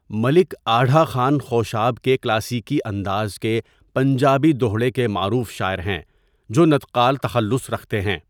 ملک آڈھا خان خوشاب کے کلاسیکی انداز کے پنجابی دوہڑے کے معروف شاعر ہیں جو نطقال تخلص رکھتے ہیں.